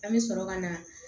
An bɛ sɔrɔ ka na